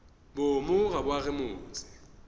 boomo ga bo age motse